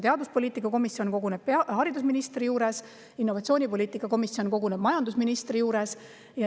Teaduspoliitika komisjon koguneb haridusministri juures ja innovatsioonipoliitika komisjon koguneb majandusministri juures.